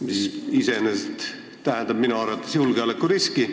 See iseenesest tähendab minu arvates julgeolekuriski.